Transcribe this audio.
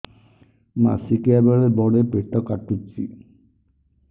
ମାସିକିଆ ବେଳେ ବଡେ ପେଟ କାଟୁଚି